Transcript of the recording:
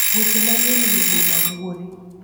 Weche manyien eiy boma buore